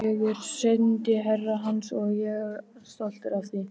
Ég er sendiherra hans og ég er stoltur af því.